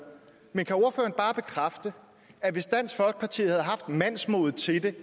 men kan ordføreren bare bekræfte at hvis dansk folkeparti havde haft mandsmodet til det